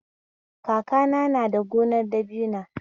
Kakana na da gonar dabina